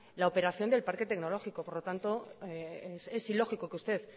la operación del parque tecnológico por lo tanto es ilógico que usted